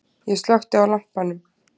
Ég slökkti á lampanum.